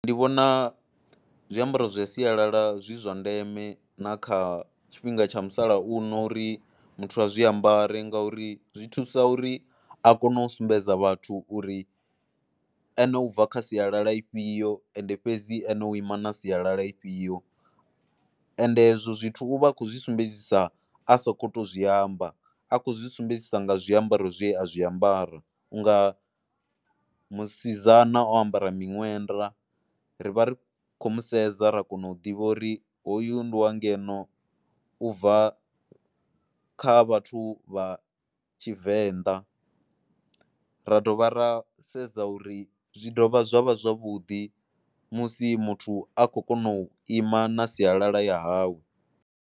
Ndi vhona zwiambaro zwa sialala zwi zwa ndeme na kha tshifhinga tsha musalauno uri muthu a zwiambaro ngauri zwi thusa uri a kone u sumbedza vhathu uri ane u bva kha sialala ifhio, ende fhedzi ene u ima na sialala ifhio, ende hezwo zwithu u vha a khou zwi sumbedzisa a sa sokou zwi amba. A khou zwi sumbedzisa nga zwiambaro zwe a zwi ambara, u nga musidzana o ambara miṅwenda, ri vha ri khou mu sedza ra kona u ḓivha uri hoyu ndi wa ngeno u bva kha vhathu vha Tshivenḓa. Ra dovha ra sedza uri, zwi dovha zwa vha zwavhuḓi musi muthu a khou kona u ima na sialala ya hawe.